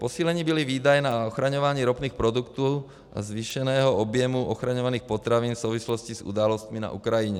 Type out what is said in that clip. Posíleny byly výdaje na ochraňování ropných produktů a zvýšeného objemu ochraňovaných potravin v souvislosti s událostmi na Ukrajině.